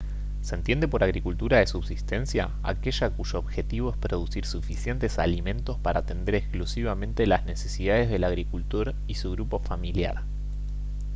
se entiende por agricultura de subsistencia aquella cuyo objetivo es producir suficientes alimentos para atender exclusivamente las necesidades del agricultor y su grupo familiar